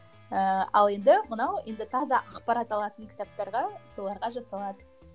ыыы ал енді мынау енді таза ақпарат алатын кітаптарға соларға жасалады